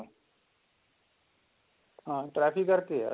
ਹਾਂ ਟ੍ਰੈਫ਼ਿਕ ਕਰਕੇ ਹੈ